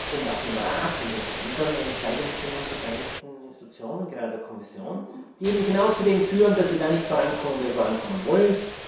Und auch im Rat und in den anderen an der Entscheidungsfindung beteiligten Institutionen, gerade der Kommission, was eben genau dazu führt, dass wir da nicht vorankommen, wo wir vorankommen wollen.